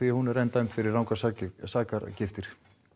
hún er enn dæmd fyrir rangar sakargiftir